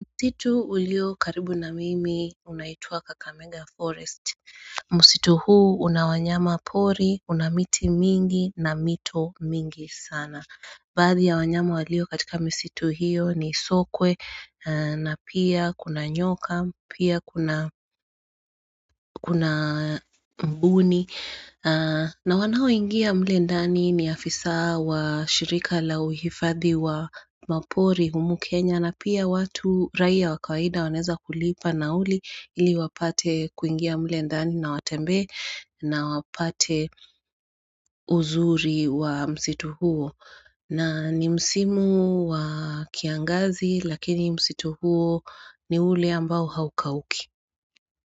Msitu ulio karibu na mimi unaitwa Kakamenga Forest Msitu huu una wanyama pori una miti mingi na mito mingi sana Baadhi ya wanyama walio katika misitu hiyo ni sokwe na pia kuna nyoka pia kuna mbuni na wanaoingia mle ndani ni afisa wa shirika la uhifadhi wa mapori humu Kenya na pia watu raia wa kawaida wanaweza kulipa nauli ili wapate kuingia mle ndani na watembee na wapate uzuri wa msitu huo na ni msimu wa kiangazi lakini msitu huo ni ule ambao haukauki.